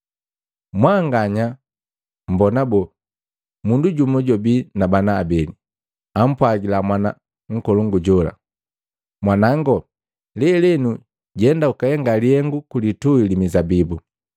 “Mwanganya mmbona boo? Mundu jumu jwabi na bana abeli. Ampwagila mwana nkolongu jola, ‘Mwanango, lelenu jenda ukahenga lihengu ku lituhi li mizabibu.’ ”